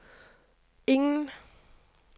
ingen